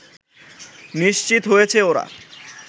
নিশ্চিত হয়েছে ওরা